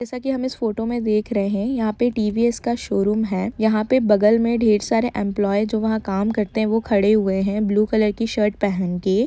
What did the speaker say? जैसा कि हम इस फोटो में देख रहे हैं यहां पर टी.वी.एस. का सोरूम है यहां पे बगल में ढेर सारे एम्प्लोयी जो वहां काम करते है वो खड़े हुए हैं ब्लू कलर की शर्ट पहन के --